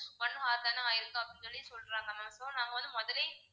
one hour தானே ஆயிருக்கு அப்படின்னு சொல்லி சொல்றாங்க ma'am, so நாங்க வந்து முதல்லையே